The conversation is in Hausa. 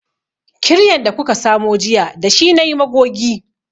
Kiryan da kuka samo jiya da shi nayi magogi